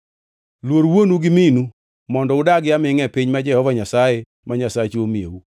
Luor wuonu gi minu mondo udagi amingʼa e piny ma Jehova Nyasaye ma Nyasachu miyou.